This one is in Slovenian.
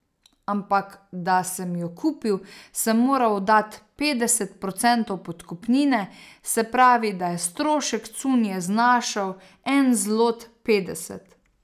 Ampak da sem jo kupil, sem moral dat petdeset procentov podkupnine, se pravi, da je strošek cunje znašal en zlot petdeset.